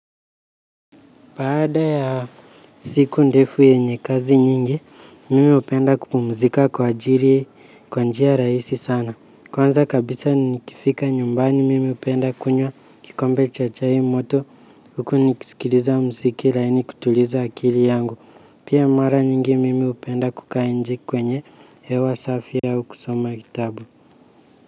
Baada ya siku ndefu yenye kazi nyingi, mimi hupenda kupumzika kwa ajiri kwa njia rahisi sana. Kwanza kabisa nikifika nyumbani mimi hupenda kunywa kikombe cha chai moto huku nikisikiliza mziki laini kutuliza akili yangu. Pia mara nyingi mimi hupenda kukaa inje kwenye hewa safi au kusoma kitabu.